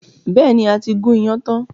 Bẹ́ẹ̀ni, a ti gún iyán tán.